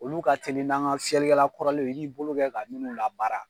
Olu ka teli n'an ka fiyɛlikɛla kɔrɔlenw ye i b'i bolo kɛ ka minnu labaara.